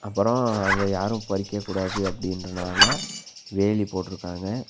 அப்பரோ அத யாரு பறிக்கக் கூடாது அப்டின்றனால வேலி போட்ருக்காங்க.